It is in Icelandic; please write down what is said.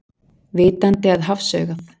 Vitandi að hafsaugað.